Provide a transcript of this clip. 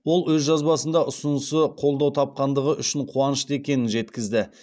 ол өз жазбасында ұсынысы қолдау тапқандығы үшін қуанышты екенін жеткізді